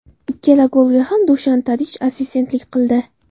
Ikkala golga ham Dushan Tadich assistentlik qildi.